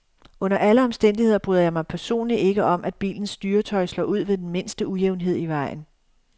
Under alle omstændigheder bryder jeg mig personlig ikke om, at bilens styretøj slår ud ved den mindste ujævnhed i vejen.